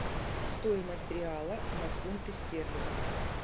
стоимость реала на фунты стерлинга